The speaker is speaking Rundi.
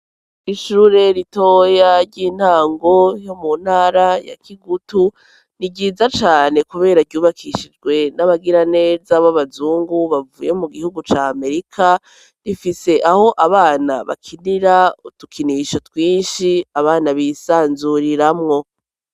Ishure ritoya ry'intango ryo mu ntara ya Kigutu ni ryiza cane kubera ryubakishijwe n'abagiraneza b'abazungu bavuye mu gihugu ca Amerika rifise aho abana bakinira udukinisho twinshi abana bisanzuriramwo.